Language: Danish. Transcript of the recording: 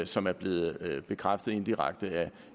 som er blevet bekræftet indirekte af